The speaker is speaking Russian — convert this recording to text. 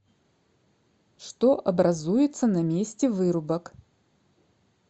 что образуется на месте вырубок